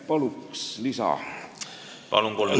Palun, kolm minutit lisaaega!